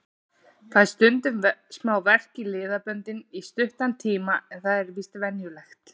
Fæ stundum smá verk í liðböndin í stuttan tíma en það er víst venjulegt.